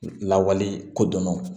Lawale ko dɔn